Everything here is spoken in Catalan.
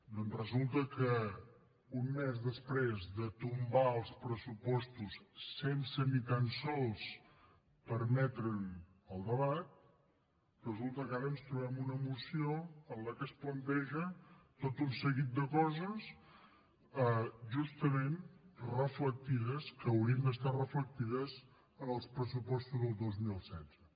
doncs resulta que un mes després de tombar els pressupostos sense ni tan sols permetre’n el debat ens trobem una moció en què es plantegen tot un seguit de coses justament reflectides que haurien d’estar reflectides en els pressupostos del dos mil setze